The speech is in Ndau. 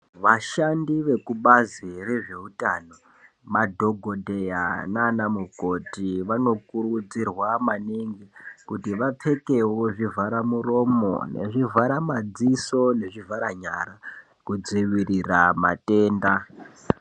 Vashandi vekubazi rezveutano madhokodheya nana mukoti vanokurudzirwa maningi kuti vapfekewo zvivhara muromo nezvivhara madziso nezvivhara nyara kudzivirira matenda.